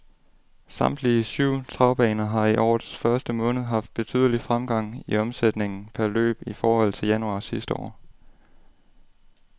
Samtlige syv travbaner har i årets første måned haft betydelig fremgang i omsætningen per løb i forhold til januar sidste år.